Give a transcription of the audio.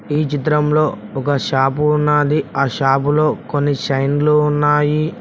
ఈ చిత్రంలో ఒక షాపు ఉన్నాది ఆ షాపులో కొన్ని చైన్లు ఉన్నాయి.